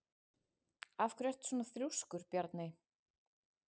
Af hverju ertu svona þrjóskur, Bjarney?